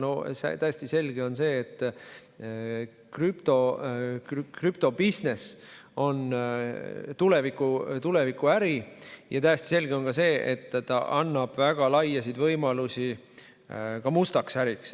No täiesti selge on see, et krüptobisnis on tulevikuäri, ja täiesti selge on ka see, et see annab väga laiu võimalusi mustaks äriks.